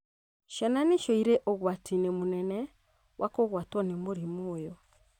Ciana nĩcio irĩ ũgwati-inĩ mũnene wa kũgwatwo nĩ mũrimũ ũyũ